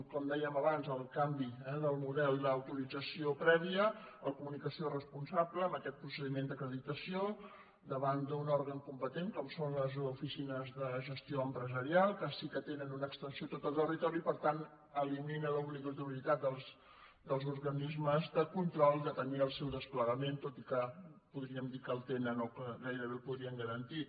com dèiem abans el canvi del model d’autorització prèvia la comunicació responsable amb aquest procediment d’acreditació davant d’un òrgan competent com són les oficines de gestió empresarial que sí que tenen una extensió a tot el territori i per tant elimina l’obligatorietat dels organismes de control de tenir el seu desplegament tot i que podríem dir que el tenen o que gairebé el podrien garantir